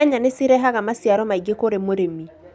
Nyanya nĩ cirehaga maciaro maingĩ kũrĩ mũrĩmi